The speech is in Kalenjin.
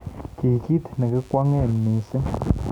Kii ki nekikwongee missing